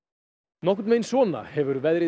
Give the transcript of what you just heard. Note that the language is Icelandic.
nokkurn veginn svona hefur veðrið